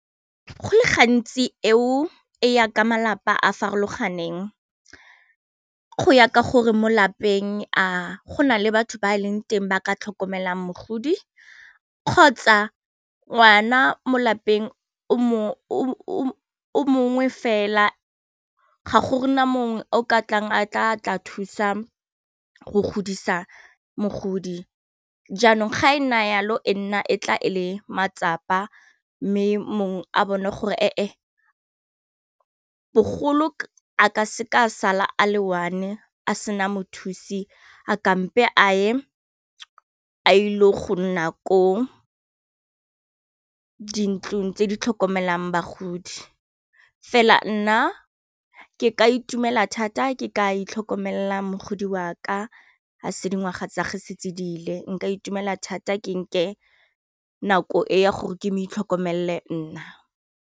Go le gantsi eo e ya ka malapa a farologaneng go ya ka gore mo lapeng a go na le batho ba e leng teng ba ka tlhokomelang mogodi kgotsa ngwana mo lapeng o mongwe fela ga gona mongwe o ka tlang a tla thusa go godisa mogodi jaanong ga e na yalo e nna e tla ele matsapa mme mongwe a bone gore e e bogolo a ka seka sala a le one a sena mothusi a kampe a e a ile go nna ko dintlong tse di tlhokomelang bagodi, fela nna ke ka itumela thata ke ka itlhokomela mogodi wa ka fa se dingwaga tsa ge se diile nka itumela thata ke nke ke nako e ya gore ke mo itlhokomele nna.